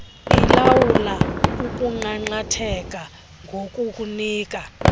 ilawula ukunqanqatheka ngokukunika